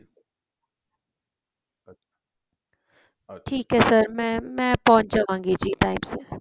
ਠੀਕ ਏ sir ਮੈ ਮੈ ਪਹੁੰਚ ਜਾਵਾਗੀ ਜੀ time ਸਿਰ